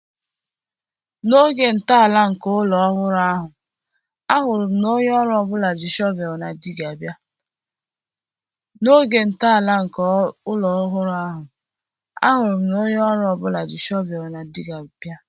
N'oge ntọala nke ụlọ ọhụrụ ahụ, ahụrụ m na onye ọrụ ọ bụla ji shọvel na Dịgga bịa